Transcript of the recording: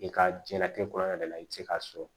I ka diɲɛnatigɛ kɔnɔna de la i bɛ se k'a sɔrɔ